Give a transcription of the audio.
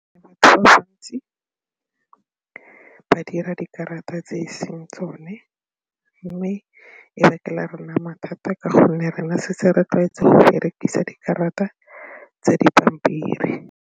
Ba bantsi ba dira dikarata tse e seng tsone mme e bakela rona mathata ka gonne rena setse re tlwaetse go berekisa dikarata tsa dipampiri.